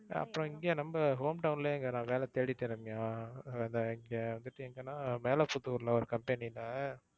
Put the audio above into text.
அப்புறம் இங்க நம்ப home town லயே வேலை தேடிட்டேன் ரம்யா. இத இங்க வந்துட்டு எங்கன்னா மேலப்புத்தூர்ல ஒரு company ல